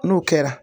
N'o kɛra